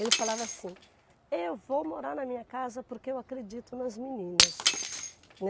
Ele falava assim, eu vou morar na minha casa porque eu acredito nas meninas.